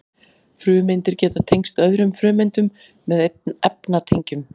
frumeindir geta tengst öðrum frumeindum með efnatengjum